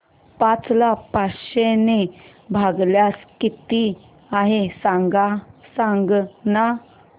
पाच ला पाचशे ने भागल्यास किती आहे सांगना